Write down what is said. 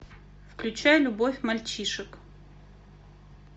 включай любовь мальчишек